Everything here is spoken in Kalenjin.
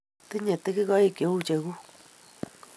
Tinye tigikoik che u cheguk